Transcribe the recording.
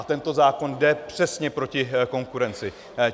A tento zákon jde přesně proti konkurenci.